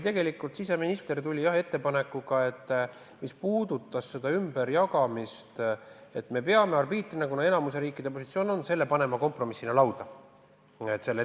Siseminister tuli ettepanekuga, mis puudutas seda ümberjagamist, ja ütles, et me peame arbiitrina, kuna enamiku riikide positsioon on selline, selle kompromissina lauda käima.